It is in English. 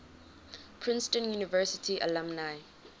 princeton university alumni